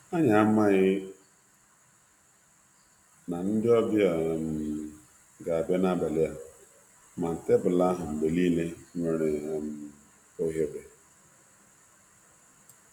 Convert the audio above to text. Anyị anaghị atụ anya ndị ọbịa n'abalị a, mana enwere ohere mgbe niile na tebụlu.